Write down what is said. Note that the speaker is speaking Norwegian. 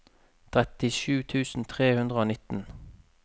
trettisju tusen tre hundre og nitten